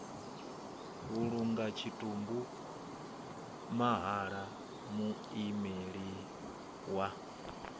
vhulunga tshitumbu mahala muimeli wa